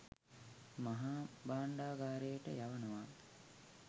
මහා භාණ්ඩගාරයට යවනවා